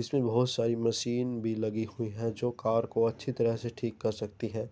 इसमें बोहोत सारी मशीन भी लगी हुई है जो कार को अच्छी तरह से ठीक कर सकती हैं।